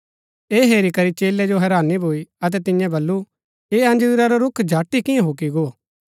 ऐह हेरी करी चेलै जो हैरानी भूई अतै तिन्यै बल्लू ऐह अंजीरा रा रूख झट ही किआं हुकी गो